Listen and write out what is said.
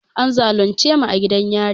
An zalunce mu a gidan yari